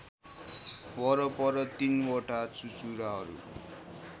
वरपर ३ वटा चुचुराहरू